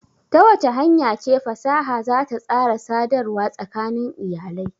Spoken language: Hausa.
Ta wace hanya ce fasaha za ta tsara sadarwa tsakanin iyalai?